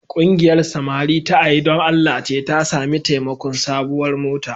Ƙungiyar samari ta A yi Don Allah ce ta sami taimakon sabuwar mota.